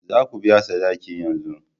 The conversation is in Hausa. Za ku biya sadaki yanzu!